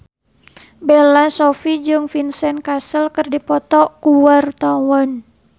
Bella Shofie jeung Vincent Cassel keur dipoto ku wartawan